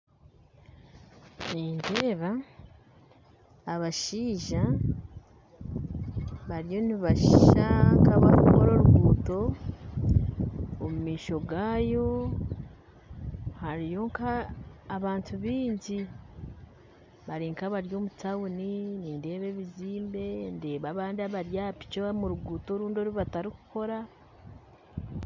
Nindeeba abashaija bariyo nibasha nkabarukukora orugutto omu maisho gabo hariyo nk'abantu baingi bari nka abari omu tawuni nindebayo ebizimbe ndeeba abandi abari aha piki omurugutto orundi orubatarukukora .